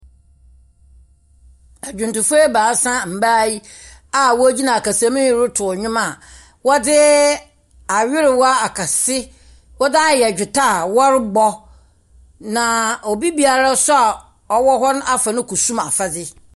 Adwontofo ebaasa, mmbaa yi a wogyina akasam anyim retow nnwom a wɔdze awerewa akɛse wɔdze ayɛ gitaa wɔbɔ, na obiara a ɔwɔ hɔ no so afa ne kusum afadze.